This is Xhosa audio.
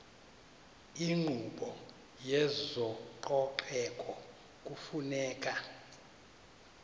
inkqubo yezococeko kufuneka